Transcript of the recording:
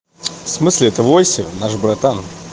в смысле это восемь наш братан